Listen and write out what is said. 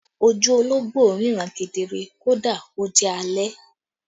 Ojú ológbò ríran kedere kódà kó jẹ́ alẹ́